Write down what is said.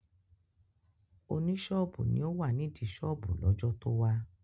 Oní ṣọ́ọ̀bù ni ó wà nídìí ṣọ́ọ̀bù lọ́jọ́ tó wá